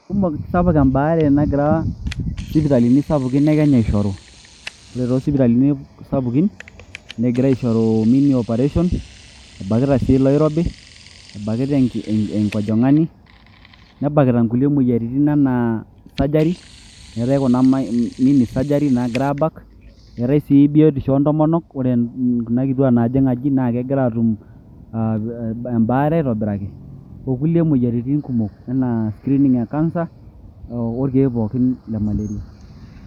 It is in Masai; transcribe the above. Kumok sapuk em`baare nagira sipitalini sapukin e Kenya aishoru . Ore too sipitalini sapukin neigira aishoru many operation ,ebakita sii iloor`obi , ebakita enki enkojong`ani ,nebakita nkulie moyiaritin anaa surgery ,eetae kuna mini surgery naagirai aabak ,eetae sii biotisho oontomonok ,ore kuna kituaak naajing aji naa kegira atu um ebaare aitobiraki ,okulie moyiaritin kumok anaa screening e cancer urh orkieek pookin le Malaria.